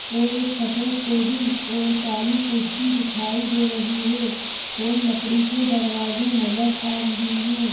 और एक सफेद टेबिल और काली कुर्सी दिखाई दे रही है और लकड़ी के दरवाजे नजर आ रहे हैं।